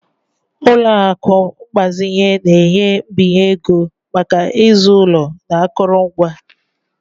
Ụlọ akụ mgbazinye na-enye mbinye ego maka ịzụ ụlọ na akụrụngwa.